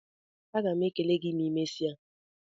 Agam ekele gị ma I mesia